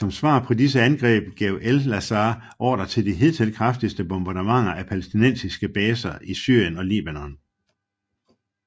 Som svar på disse angreb gav Elazar ordre til de hidtil kraftigste bombardementer af palæstinensiske baser i Syrien og Libanon